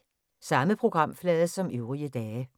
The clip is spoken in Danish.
Samme programflade som øvrige dage